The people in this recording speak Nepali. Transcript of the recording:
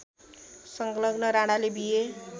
संलग्न राणाले बीए